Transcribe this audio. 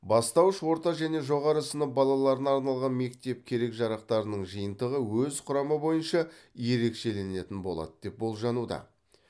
бастауыш орта және жоғары сынып балаларына арналған мектеп керек жарақтарының жиынтығы өз құрамы бойынша ерекшеленетін болады деп болжануда